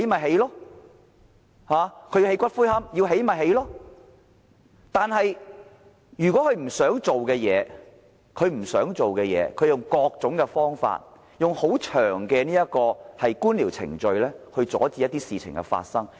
不過，對於一些政府不想做的事，當局便會以各種方法，利用冗長的官僚程序來阻止這些事情發生。